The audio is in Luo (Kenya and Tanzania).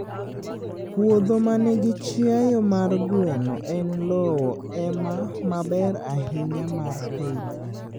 puodho ma nigi chiayo mar gweno en lowo ema maber ahinya mar pith.